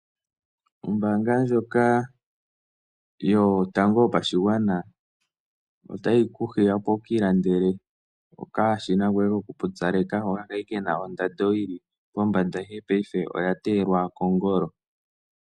Ombaanga ndjoka yotango yopashigwana otayi ku hiya opo wu ka ilandele okashina koye kokupyupaleka, hoka kali kena ondando yili pombanda ihe paife oya teyelwa kongolo.